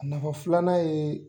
A nafa filanan ye